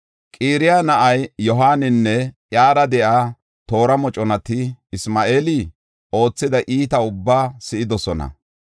Qaraya na7ay Yohaaninne iyara de7iya toora moconati Isma7eeli oothida iitaba ubbaa si7idosona.